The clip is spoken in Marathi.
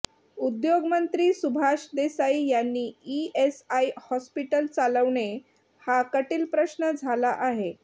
उद्योगमंत्री सुभाष देसाई यांनी ईएसआय हॉस्पीटल चालवणे हा कटील प्रश्न झाला आहे